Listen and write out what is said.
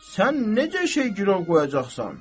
Sən necə şey girov qoyacaqsan?